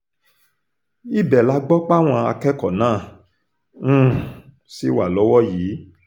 ibẹ̀ la gbọ́ páwọn akẹ́kọ̀ọ́ náà um ṣì wà lọ́wọ́ yìí